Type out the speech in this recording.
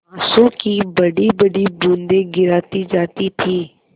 आँसू की बड़ीबड़ी बूँदें गिराती जाती थी